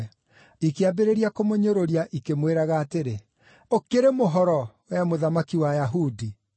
Ikĩambĩrĩria kũmũnyũrũria, ikĩmwĩraga atĩrĩ, “Ũkĩrĩ mũhoro, wee mũthamaki wa Ayahudi?”